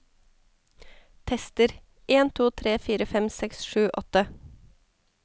Tester en to tre fire fem seks sju åtte